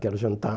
Quero jantar.